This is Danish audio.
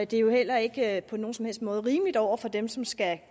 det er jo heller ikke på nogen som helst måde rimeligt over for dem som skal